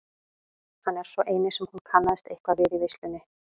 Hann er sá eini sem hún kannast eitthvað við í veislunni.